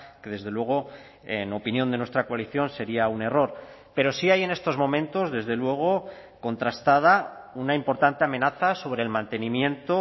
que desde luego en opinión de nuestra coalición sería un error pero sí hay en estos momentos desde luego contrastada una importante amenaza sobre el mantenimiento